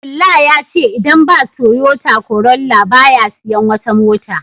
Abdullah yace idan ba Toyota Corolla ba ya siyan wata mota